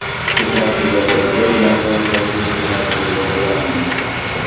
To‘qnashuvlarda bir nafar harbiy xizmatchi yaralandi.